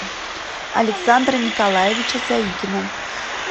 александра николаевича заикина